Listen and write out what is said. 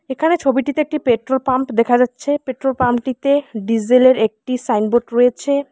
এখানে ছবিটিতে একটি পেট্রোল পাম্প দেখা যাচ্ছে পেট্রোল পাম্প -টিতে ডিজেল -এর একটি সাইনবোর্ড রয়েছে।